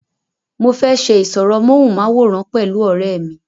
mo fẹ́ ṣe ìsọ̀rọ̀ móhùnmáwòrán pẹ̀lú ọ̀rẹ́ mi